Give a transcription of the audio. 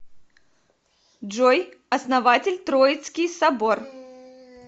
джой основатель троицкий собор